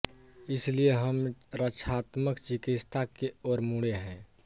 इसलिए हम रक्षात्मक चिकित्सा के ओर मुड़े हैं